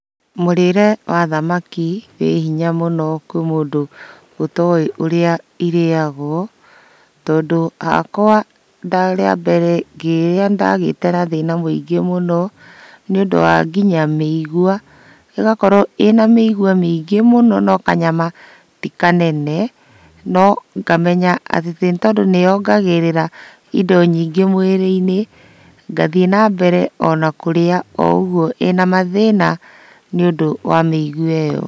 Mũrĩre wa thamaki wĩ hinya mũno kwĩ mũndũ ũtowĩ ũrĩa irĩyagwo. Tondũ hakwa rĩa mbere ngĩrĩa nĩndagĩte na thĩna mũingĩ mũno, nĩũndũ wa nginya mĩigua, ĩgakorwo ĩna mĩigua mĩingĩ mũno no kanyama tĩ kanene. No ngamenya atĩ tondũ nĩyongagĩrĩra indo nyingĩ mwĩrĩ-inĩ ngathiĩ ona mbere na kũrĩa o ũguo ĩna mathĩna nĩũndũ wa mĩigua ĩyo.